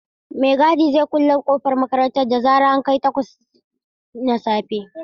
Mai gadi zai kulle kofar makarantar da zaran an kai takwas na safe.